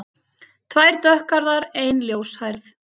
Tvær dökkhærðar, ein ljóshærð.